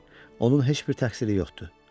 Onun heç bir təqsiri yoxdu.